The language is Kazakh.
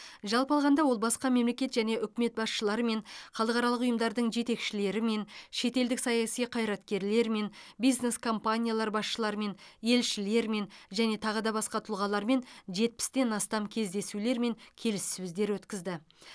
жалпы алғанда ол басқа мемлекет және үкімет басшыларымен халықаралық ұйымдардың жетекшілерімен шетелдік саяси қайраткерлермен бизнес компаниялар басшыларымен елшілермен және тағы да басқа тұлғалармен жетпістен астам кездесулер мен келіссөздер өткізді